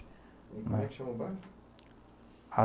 E como é que chama o bairro?